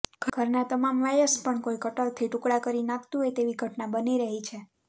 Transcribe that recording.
ઘરના તમામ વાયર્સ પણ કોઈ કટરથી ટુકડા કરી નાંખતું હોય તેવી ઘટના બની રહી છે